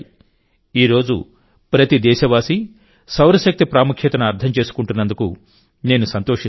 ఈ రోజు ప్రతి దేశవాసీ సౌరశక్తి ప్రాముఖ్యతను అర్థం చేసుకుంటున్నందుకు నేను సంతోషిస్తున్నాను